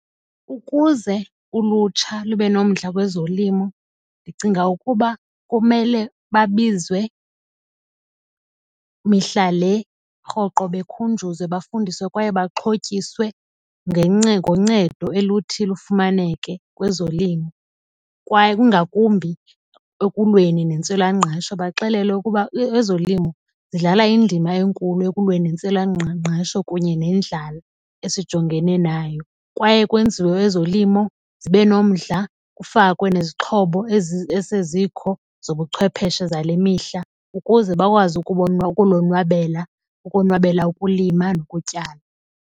Ukuze ulutsha lube nomdla kwezolimo ndicinga ukuba kumele babizwe mihla le rhoqo bekhunjuzwe bafundiswe kwaye baxhotyiswe ngoncedo oluthi lufumaneke kwezolimo. Kwaye kungakumbi ekulweni nentswelangqesho baxelelwe ukuba ezolimo zidlala indima enkulu ekulweni nentswelangqesho kunye nendlala esijongene nayo. Kwaye kwenziwe ezolimo zibe nomdla kufakwe nezixhobo esezikho zobuchwepheshe zale mihla ukuze bakwazi ukulonwabela ukonwabela ukulima nokutyala.